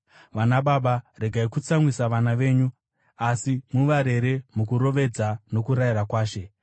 Vanababa, regai kutsamwisa vana venyu; asi, muvarere mukurovedza nokurayira kwaShe.